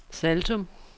Saltum